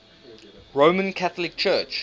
roman catholic church